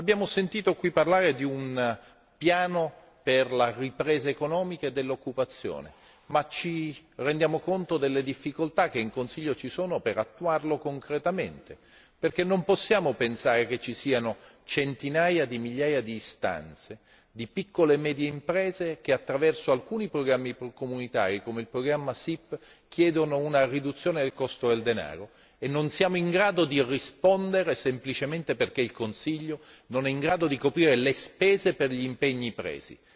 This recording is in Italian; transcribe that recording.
Abbiamo sentito qui parlare di un piano per la ripresa economica e dell'occupazione, ma ci rendiamo conto delle difficoltà che in Consiglio ci sono per attuarlo concretamente, perché non possiamo pensare che ci siano centinaia di migliaia di istanze, di piccole e medie imprese, che attraverso alcuni programmi comunitari come il programma SIP chiedono una riduzione del costo del denaro e non siamo in grado di rispondere semplicemente perché il Consiglio non è in grado di coprire le spese per gli impegni presi.